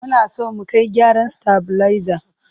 Muna so mu kai gyaran stabilizer.